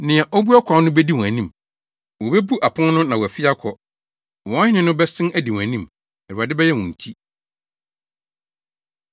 Nea obue ɔkwan no bedi wɔn anim; wobebu apon no na wɔafi akɔ. Wɔn Hene no bɛsen adi wɔn anim, Awurade bɛyɛ wɔn ti.”